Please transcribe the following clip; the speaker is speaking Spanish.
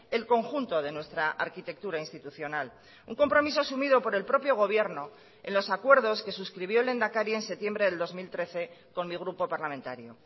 el conjunto de nuestra arquitectura institucional un compromiso asumido por el propio gobierno en los acuerdos que suscribió el lehendakari en septiembre del dos mil trece con mi grupo parlamentario